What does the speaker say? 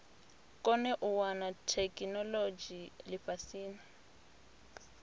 kone u wana theikinolodzhi lifhasini